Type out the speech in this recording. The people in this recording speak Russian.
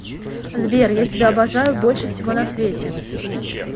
сбер я тебя обожаю больше всего на свете